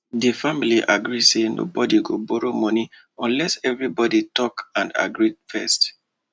di family agree say nobody go borrow money unless everybody talk and agree first